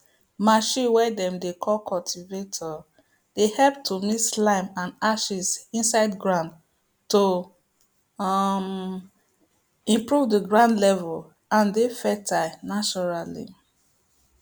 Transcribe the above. machine way dem dey call cultivator dey help to mix lime and ashes inside ground to um improve the ground level and dey fertile naturally